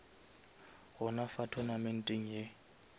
gona fa tournamenteng ye